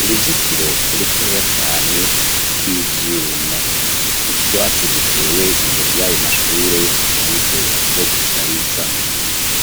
uruzitiro rutoya cane rw'ibyuma utwatsi dutewe imbere y'ayo mashure mu buryo bwo gushariza.